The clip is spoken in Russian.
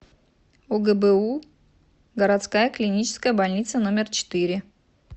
огбу городская клиническая больница номер четыре